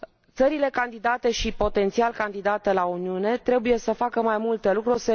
Țările candidate și potențial candidate la Uniune trebuie să facă mai multe lucruri.